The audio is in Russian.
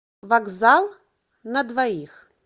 вокзал на двоих